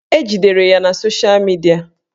Ejidere ya sosha midia